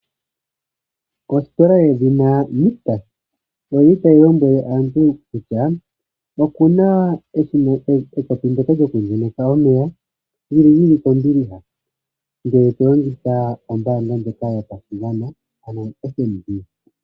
Ositola yedhina Nictus oyili tayi lombwele aantu kutya ikuna ekopi ndoka lyoku ndjeneka omeya li li lyili kombiliha, ngele to longitha ombaandja ndjoka yopashigwana ano oFNB.